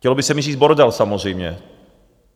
Chtělo by se mi říct bordel samozřejmě.